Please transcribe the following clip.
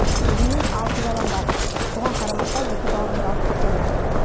өзімнің алты балам бар соған қарамастан екі бауырымды алып кетемін